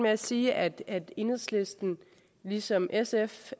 at sige at enhedslisten ligesom sf